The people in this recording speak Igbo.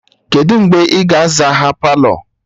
Kedụ mgbe ị ga-aza ha Palọ?